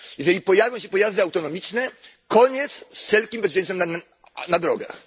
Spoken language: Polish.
Jeżeli pojawią się pojazdy autonomiczne, to koniec z wszelkim bezpieczeństwem na drogach.